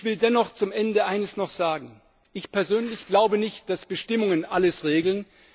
Ich will dennoch zum Ende noch Eines sagen Ich persönlich glaube nicht, dass Bestimmungen alles regeln.